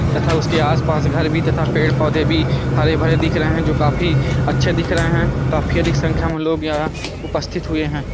तथा उसके आस-पास घर भी तथा पेड़-पौधे भी हरे-भरे दिख रहे हैं जो काफी अच्छे दिख रहे हैं। काफी अधिक संख्या में लोग यहाँ उपस्थित हुए हैं।